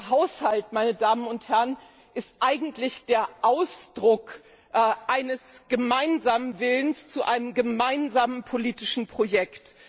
Der Haushalt, meine Damen und Herren, ist eigentlich der Ausdruck eines gemeinsamen Willens zu einem gemeinsamen politischen Projekt.